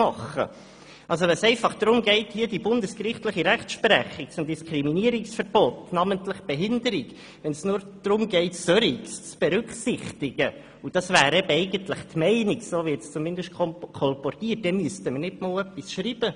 Wenn es einfach darum geht, hier die bundesgerichtliche Rechtsprechung zum Diskriminierungsverbot, namentlich von Personen mit Behinderungen, zu berücksichtigen – was, wie es zumindest kolportiert wird, eigentlich die Meinung ist –, müssten wir nicht einmal etwas schreiben.